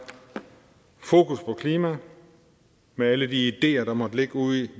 fokus på klimaet med alle de ideer der måtte ligge ude